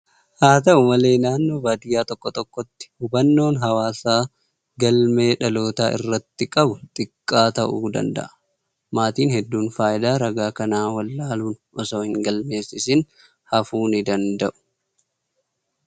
Haa ta'u malee, naannoo baadiyaa tokko tokkotti hubannoon hawaasaa galmee dhalootaa irratti qabu xiqqaa ta'uu danda'a. Maatiin hedduun faayidaa ragaa kanaa wallaaluun osoo hin galmeessisiin hafuu ni danda'u.